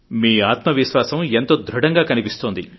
మీ ఆత్మవిశ్వాసం ఎంతో ప్రబలంగా కనిపిస్తోంది